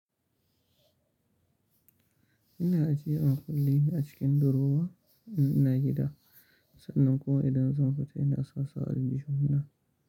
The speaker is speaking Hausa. Ina ajiyewa kullin a cikin durowa ina yi da, sannan kuma idan zan fita ina sasu a aljihuna.